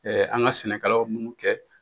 an ka sɛnɛkɛlaw la munnu kɛ.